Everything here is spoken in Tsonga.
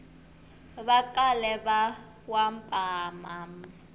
va kale va wa mapa